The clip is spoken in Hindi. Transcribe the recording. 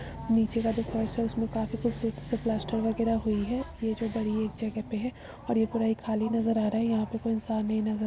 नीचे का जो फर्श है। उसमें काफी कुछ प्लास्टर वगैरह हुई है। ये जो बड़ी एक जगह पे है और ये पूरा खाली नजर आ रहा है। यहाँ पर कोई इंसान नहीं नजर --